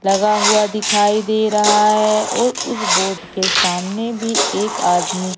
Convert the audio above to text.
लगा हुआ दिखाई दे रहा है और उस बोट के सामने भी एक आदमी--